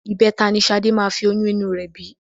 Ìbẹta ni Ṣadé máa fi oyún inú rẹ bí